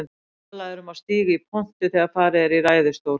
Talað er um að stíga í pontu þegar farið er í ræðustól.